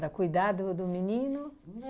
Era cuidar do do menino?